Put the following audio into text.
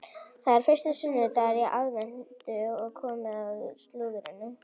Það er fyrsti sunnudagur í aðventu og komið að slúðrinu.